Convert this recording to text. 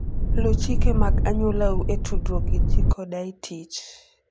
Luw chike mag anyuolau e tudruok gi ji koda e tich.